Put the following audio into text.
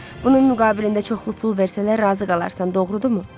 Bunun müqabilində çoxlu pul versələr razı qalarsan, doğrudumu?